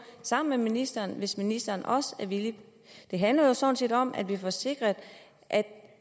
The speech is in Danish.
sammen med ministeren hvis ministeren også er villig det handler jo sådan set om at vi får sikret at